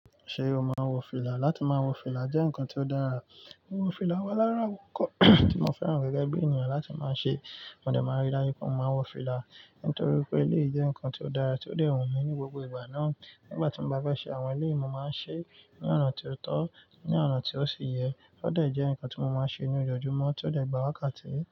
Ṣé o maa n wọ fìlà? Láti ma wọ fìlà jẹ́ ǹnkan tí ó dára. Wọ fìlà wà lárawọn ǹkan tí mo fẹ́ràn gẹ́gẹ́ bí ènìyàn láti ma ṣe. Mo dẹ máa rí dájú pé mo ma wọ fìlà nítorí wípé eléyì jẹ́ ǹnkan tí ó dára tí ó dẹ̀ hun mi ní gbogbo ìgbà náà. Nígbàtí mo bá fẹ́ ṣe àwọn ilé, mo ma ṣe ní ọ̀nà tí ó tọ́, ní ọ̀nà tí ó ṣe yẹ, ó dẹ̀ jẹ́ ǹnkan tí mo máa ṣe ní ojoojúmọ́ tí ó dẹ̀ gbàwákàtí.